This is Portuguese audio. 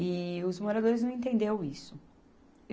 E os moradores não entendeu isso.